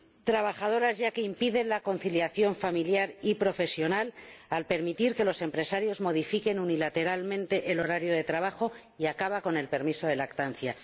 trabajadoras ya que impide la conciliación familiar y profesional al permitir que los empresarios modifiquen unilateralmente el horario de trabajo y al acabar con el permiso de lactancia.